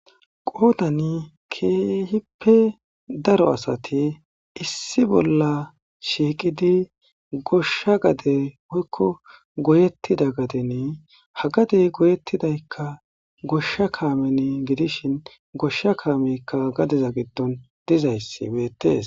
Qoodani keehippe daro asati issi bolla shiiqidi goshsha gade woykko goyettida gadeni ha gadey goyettidaykka goshsha kaameni gidishin goshsha kaameykka gadeza giddon dizayssi beettes.